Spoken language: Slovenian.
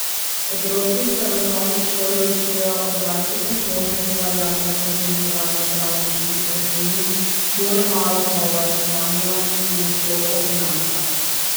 Otroci se v osnovni šoli učijo o dvajsetih možnih variantah razmnoževanja travniških rastlin, bore malo pa o varčevanju in nasploh o financah.